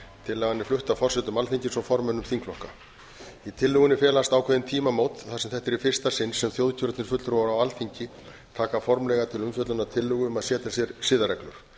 tillagan er flutt af forsetum alþingis og formönnum þingflokka í tillögunni felast ákveðin tímamót þar sem þetta er í fyrsta sinn sem þjóðkjörnir fulltrúar á alþingi taka formlega til umfjöllunar tillögu um að setja sér siðareglur